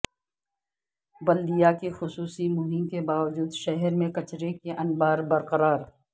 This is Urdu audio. بلدیہ کی خصوصی مہم کے باوجود شہر میں کچرے کے انبار برقرار